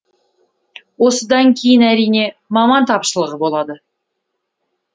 осыдан кейін әрине маман тапшылығы болады